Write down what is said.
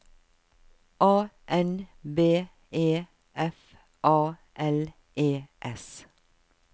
A N B E F A L E S